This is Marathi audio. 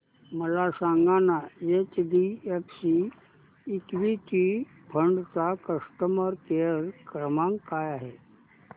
मला सांगाना एचडीएफसी इक्वीटी फंड चा कस्टमर केअर क्रमांक काय आहे